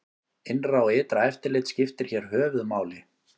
Innra og ytra eftirlit skiptir hér höfuð máli.